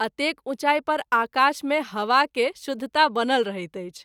एतेक उँचाई पर आकाश मे हवा के शुद्धता बनल रहैत अछि।